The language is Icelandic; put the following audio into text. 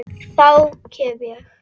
Þá kem ég